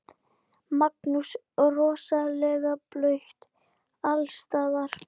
Magnús: Rosalega blautt alls staðar?